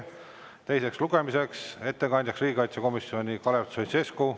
Teise lugemise ettekandja riigikaitsekomisjoni nimel on Kalev Stoicescu.